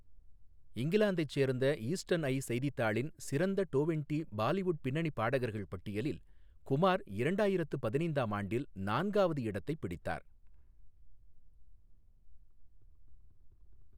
இங்கிலாந்தைச் சேர்ந்த Eastern Eye செய்தித்தாளின் "சிறந்த டோவென்டி பாலிவுட் பின்னணி பாடகர்கள்" பட்டியலில் குமார் இரண்டாயிரத்து பதினைந்தாம் ஆண்டில் நான்காவது இடத்தைப் பிடித்தார்.